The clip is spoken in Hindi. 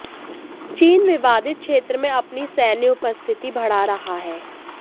चीन विवादित क्षेत्र में अपनी सैन्य उपस्थिति बढ़ा रहा है